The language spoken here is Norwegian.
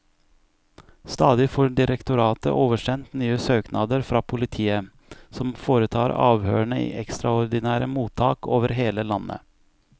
Stadig får direktoratet oversendt nye søknader fra politiet, som foretar avhørene i ekstraordinære mottak over hele landet.